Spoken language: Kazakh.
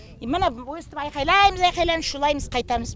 міні өстіп айқайлаймыз айқайлаймыз шулаймыз қайтамыз